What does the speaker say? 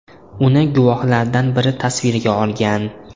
Uni guvohlardan biri tasvirga olgan.